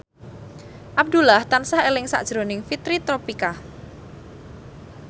Abdullah tansah eling sakjroning Fitri Tropika